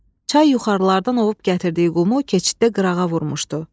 Çay yuxarılardan ovub gətirdiyi qumu keçiddə qırağa vurmuşdu.